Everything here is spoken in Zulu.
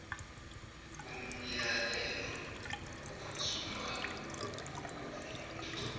umyalelo ophuthumayo wokuvimba